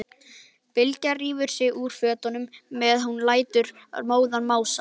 Bylgja rífur sig úr fötunum meðan hún lætur móðan mása.